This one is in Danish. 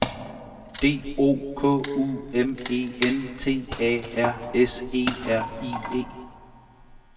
D O K U M E N T A R S E R I E